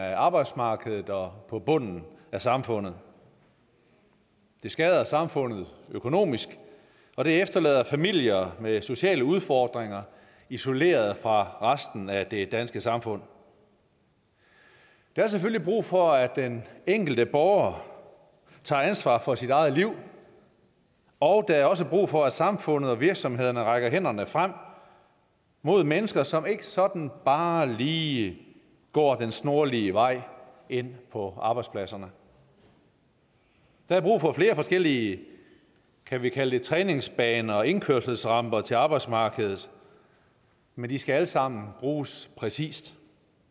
af arbejdsmarkedet og på bunden af samfundet det skader samfundet økonomisk og det efterlader familier med sociale udfordringer isoleret fra resten af det danske samfund der er selvfølgelig brug for at den enkelte borger tager ansvar for sit eget liv og der er også brug for at samfundet og virksomhederne rækker hænderne frem mod mennesker som ikke sådan bare lige går den snorlige vej ind på arbejdspladserne der er brug for flere forskellige kan vi kalde det træningsbaner og indkørselsramper til arbejdsmarkedet men de skal alle sammen bruges præcist